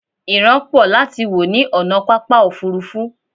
ìran pọ láti wò ní ònà pápá òfurufú